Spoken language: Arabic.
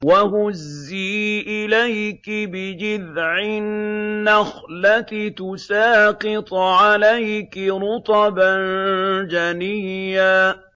وَهُزِّي إِلَيْكِ بِجِذْعِ النَّخْلَةِ تُسَاقِطْ عَلَيْكِ رُطَبًا جَنِيًّا